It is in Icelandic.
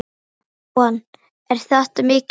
Jóhann: Er þetta mikið?